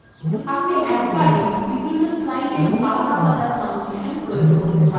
আপনি এক বারেই বিভিন্ন slide বিভিন্ন ট্রানসিসান প্রয়োগ করতে পারেন